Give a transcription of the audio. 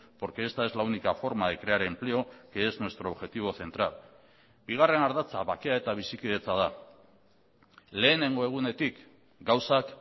porque esta es la única forma de crear empleo que es nuestro objetivo central bigarren ardatza bakea eta bizikidetza da lehenengo egunetik gauzak